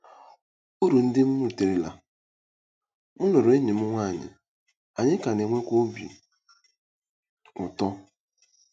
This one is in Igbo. URU NDỊ M RITERELA: M lụrụ enyi m nwaanyị, anyị ka na-enwekwa obi ụtọ.